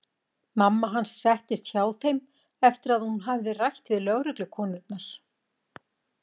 Mamma hans settist hjá þeim eftir að hún hafði rætt við lögreglukonurnar.